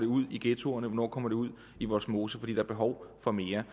ud i ghettoerne hvornår komer det ud i vollsmose for er behov for mere